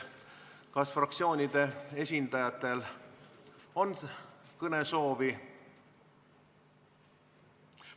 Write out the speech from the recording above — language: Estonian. Kas fraktsioonide esindajatel on kõnesoovi?